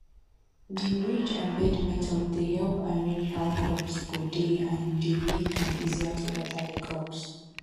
de ridge and bed method dey help arrange how crops go dey and dey make am easier to water de crops